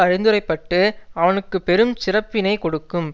அறிந்தரைப்பட்டு அவனுக்கு பெருஞ் சிறப்பினை கொடுக்கும்